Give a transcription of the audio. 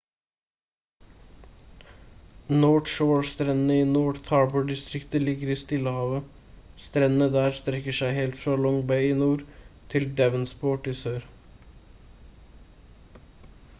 north shore-strendene i north-harbor-distriktet ligger i stillehavet strendene der strekker seg helt fra long bay i nord til devonsport i sør